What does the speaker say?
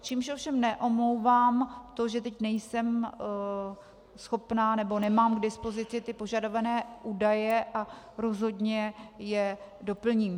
Čímž ovšem neomlouvám to, že teď nejsem schopna, nebo nemám k dispozici ty požadované údaje, a rozhodně je doplním.